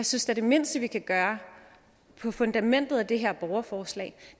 synes at det mindste vi kan gøre på fundamentet af det her borgerforslag